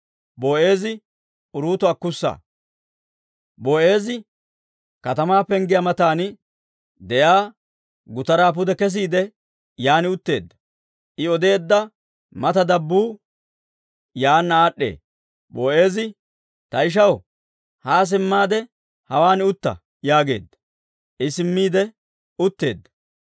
Boo'eezi katamaa penggiyaa matan de'iyaa gutaraa pude kesiide, yan utteedda. I odeedda mata dabbuu yaanna aad'd'ee. Boo'eezi «Ta ishaw, haa simmaade hawaan utta» yaageedda. I simmiide utteedda.